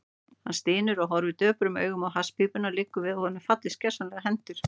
Hann stynur og horfir döprum augum á hasspípuna, liggur við að honum fallist gersamlega hendur.